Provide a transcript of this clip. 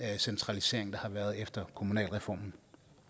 centralisering der har været efter kommunalreformen